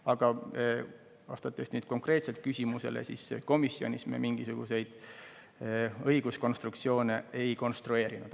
Aga vastates nüüd konkreetselt küsimusele: komisjonis me mingisuguseid õiguskonstruktsioone ei konstrueerinud.